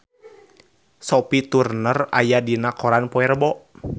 Sophie Turner aya dina koran poe Rebo